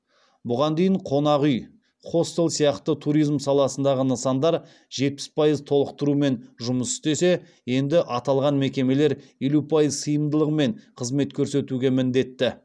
бұған дейін қонақ үй хостел сияқты туризм саласындағы нысандар жетпіс пайыз толықтырумен жұмыс істесе енді аталған мекемелер елу пайыз сыйымдылығымен қызмет көрсетуге міндетті